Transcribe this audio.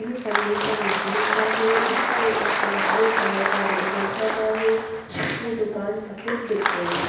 ये फर्नीचर लकड़ी का है इसके ऊपर हरे कलर का वेलवेट लगा है ये दुकान सफेद दिख रही है।